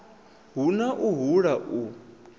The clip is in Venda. hu na u hula u